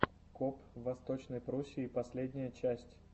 коп в восточной пруссии последняя часть